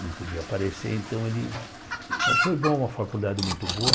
Não podia aparecer, então ele... Mas foi bom, uma faculdade muito boa.